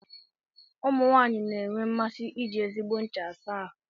Ụmụ nwanyị na-enwe mmasị iji ezigbo ncha asa ahụ.